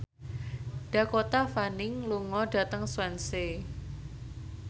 Dakota Fanning lunga dhateng Swansea